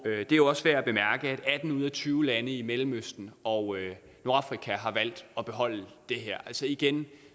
er jo også værd at bemærke at atten ud af tyve lande i mellemøsten og nordafrika har valgt at beholde det her altså igen